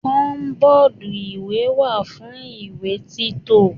Kọbọ́dú ìwé wà fún ìwé tito.